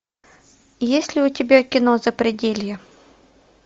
есть ли у тебя кино запределье